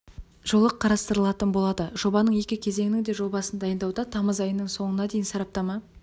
жолы қарастырылатын болады жобаның екі кезеңінің де жобасын дайындауда тамыз айының соңына дейін сараптама